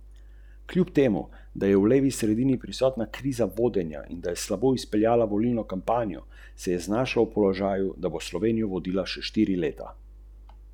Torej zunaj delovnika, zasebno, za honorar.